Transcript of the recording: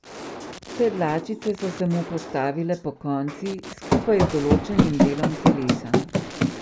Vse dlačice so se mu postavile pokonci, skupaj z določenim delom telesa.